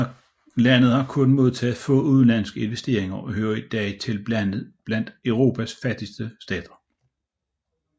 Landet har kun modtaget få udenlandske investeringer og hører i dag til blandt Europas fattigste stater